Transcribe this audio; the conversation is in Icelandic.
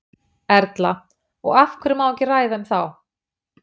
Erla: Og af hverju má ekki ræða um þá?